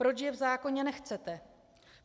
Proč je v zákoně nechcete?